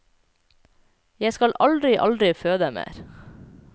Jeg skal aldri, aldri føde mer.